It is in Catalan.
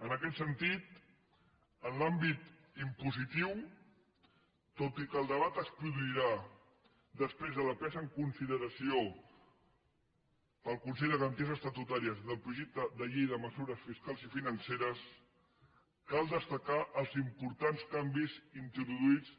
en aquest sentit en l’àmbit impositiu tot i que el debat es produirà després de la presa en consideració pel consell de garanties estatutàries del projecte de llei de mesures fiscals i financeres cal destacar els importants canvis introduïts